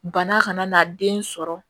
Bana kana n'a den sɔrɔ